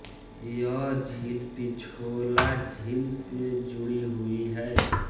यह झील पिछोला झील से जुड़ी हुई है